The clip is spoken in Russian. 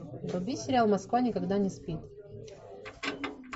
вруби сериал москва никогда не спит